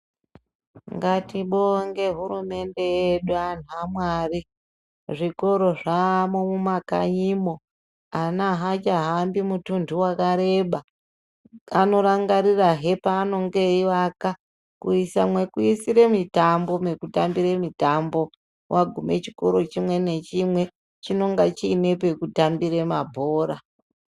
Ngatibonge hurumende yedu antu amwari, zvikora zvaamwo mumakanyimwo, ana achahambi mutunhu wakareba, anorangarirahe paanenge eivaka kuisa mwekuisira mitambo, mwekutambira mitambo, mwakuguma chikora chimwe nachimwe chinenge chiine mwekutambira mabhora.